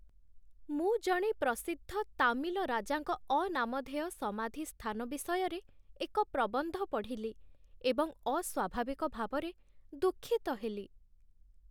ମୁଁ ଜଣେ ପ୍ରସିଦ୍ଧ ତାମିଲ ରାଜାଙ୍କ ଅନାମଧେୟ ସମାଧି ସ୍ଥାନ ବିଷୟରେ ଏକ ପ୍ରବନ୍ଧ ପଢ଼ିଲି ଏବଂ ଅସ୍ୱାଭାବିକ ଭାବରେ ଦୁଃଖିତ ହେଲି